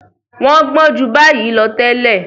Wọ́n gbọ́n ju báyìí lọ tẹ́lẹ̀.